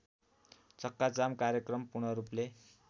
चक्काजाम कार्यक्रम पूर्णरूपले